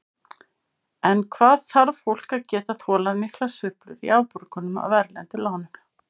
En hvað þarf fólk að geta þolað miklar sveiflur í afborgunum af erlendu lánunum?